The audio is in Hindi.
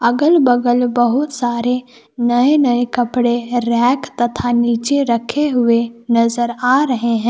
अगल बगल बहुत सारे नए नए कपड़े रैक तथा नीचे रखे हुए नजर आ रहे हैं।